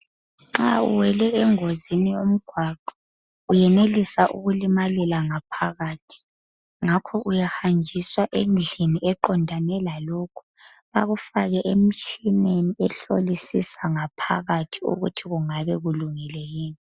nxa uwele engozini yomgwaqo uyenelisa kulimalela ngaphakathi ngakho uyahanjiswa endlini eqondane lalokho bakufake emtshineni ehlolisisa ngaphakathi ukuthi kungabe kulungile yini